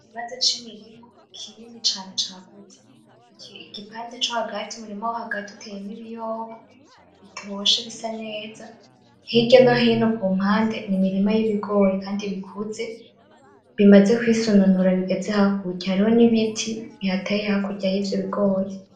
Ikibanza c'imirima kinini cane cagutse, igipande co hagati umurima wo hagati uteyemwo ibiyoba bitoshe bisa neza, hirya no hino kumpande ni imirima y'ibigori kandi bikuze bimaze kwisononora bigeze hakurya, hariho n'ibiti bihateye hakurya yivyo bigori.